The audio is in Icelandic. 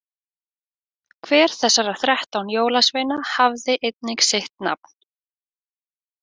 Hver þessara þrettán jólasveina hafði einnig sitt nafn.